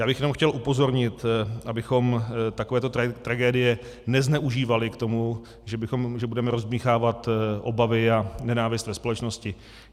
Já bych jenom chtěl upozornit, abychom takovéto tragédie nezneužívali k tomu, že budeme rozdmýchávat obavy a nenávist ve společnosti.